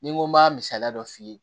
Ni n ko m'a misaliya dɔ f'i ye